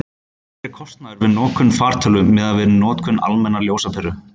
hver er kostnaðurinn við notkun fartölvu miðað við notkun almennrar ljósaperu